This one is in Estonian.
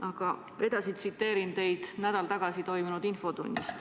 Aga ma tsiteerin teie sõnu nädal tagasi toimunud infotunnis.